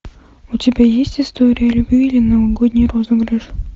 у тебя есть история любви или новогодний розыгрыш